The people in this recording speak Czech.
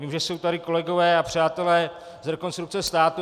Vím, že jsou tady kolegové a přátelé z Rekonstrukce státu.